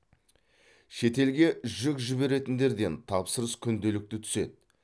шетелге жүк жіберетіндерден тапсырыс күнделікті түседі